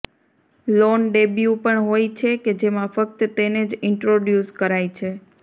loan debut પણ હોય છે કે જેમાં ફક્ત તેને જ ઇન્ટ્રોડ્યૂસ કરાય છે